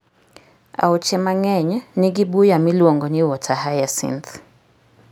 Aoche mang'eny nigi buya miluongo ni water hyacinth.